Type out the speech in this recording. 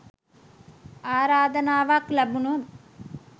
ආරාධනාවක් ලැබුණොත්